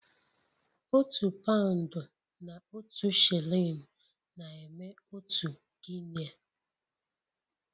Otu paụnd na otu shilling na-eme otu Guinea